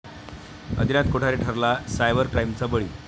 आदिनाथ कोठारे ठरला सायबर क्राईमचा बळी